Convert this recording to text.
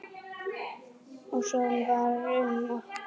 Og svo var um okkur.